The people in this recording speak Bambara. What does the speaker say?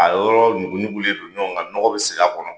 A yɔrɔ ɲuguɲugulen don ɲɔgɔn kan, nɔgɔ be sigi a kɔnɔ.